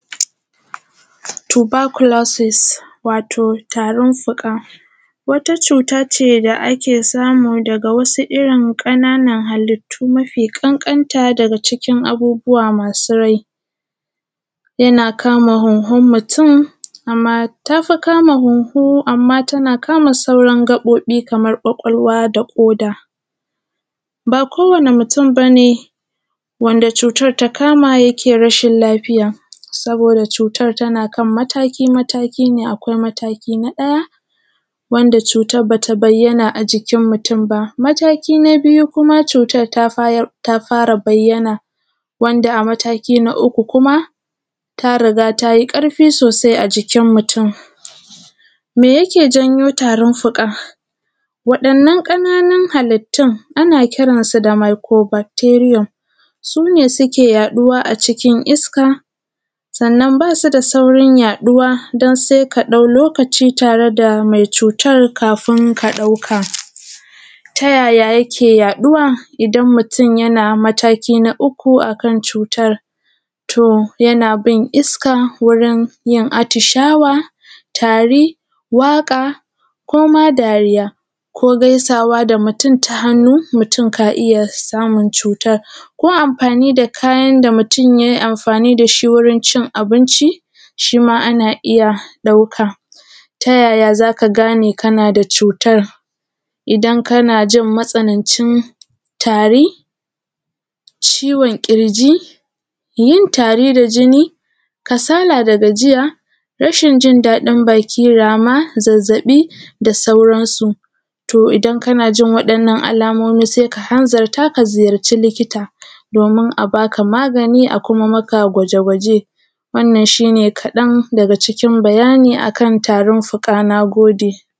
Tubakulosis wato tarin fuka wata cutace da ake samu daga wasu irrin ƙananan halittu mafi ƙanƙanta daga cikin abubuwa masu rai, yana kama hunhun mutum amma tafi kama hunhu amma tana kama sauran gaɓoɓin kamar kwakawlwa da koda. Ba kowani mutun bane wanda cutar ta kama yake rashin lafiya, saboda cutar tana kan mataki mataki ne akwai mataki na ɗaya wanda cutar bata bayyana a jikin mutun ba. Mataki na biyu kuma cutar ta fara bayyana, wanda a mataki an uku kuma ta riga tayi ƙarfi sosai a jikin mutun. Me yake janyo tarin fuka? Waɗannan ƙananun halittun ana kiransu da mikuro bakteriya sune suke yaɗuwa a cikin iska sannan basu da saurin yaɗuwa dan sai kaɗau lokaci tareda mai cutar kamin ka ɗauka. Ta yaya yake yaɗuwa ida mutun yana mataki na uku akan cutar? To yana bin iska wurinyin atishawa, tari, waƙa harma dariya ko gaisawa da mutun ta hannu, mutun ka’aiyya samun cutar. Ko amfani da kayan da mutun yai amfani dashi wurincin abinci shima ana iyya ɗauka. Ta yaya zaka gane kanada cutar? Idan kanajin matsanancin tari, ciwon ƙirji, yin tari da jini, kasala da gajiya, rashin daɗin baki, rama, zazzaɓi da sauran su. to idan kanajin waɗannan alamomi saika hanzarta ka nemi likita domin a baka magani a kuma maka gwaje gwaje wannan shine kaɗan daga cikin bayani akan tarin fuka. Nagode